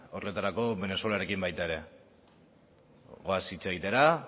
horretarako venezuelarekin baita ere goaz hitz egitera